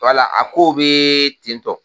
a kow bɛ ten tɔ